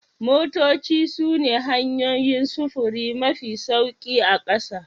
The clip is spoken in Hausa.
Motoci sune hanyoyin sufuri mafi sauri a ƙasa